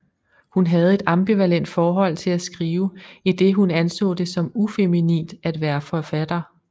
Hun havde et ambivalent forhold til at skrive idet hun anså det som ufeminint at være forfatter